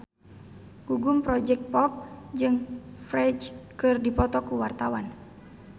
Gugum Project Pop jeung Ferdge keur dipoto ku wartawan